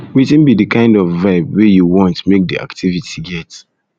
wetin be di kind of vibe wey um you want um make di activity get